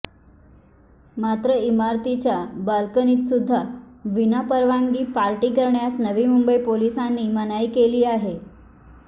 मात्र इमारतीच्या बालकणीतसुद्धा विना परवानगी पार्टी करण्यास नवी मुंबई पोलिसांनी मनाई केली आहे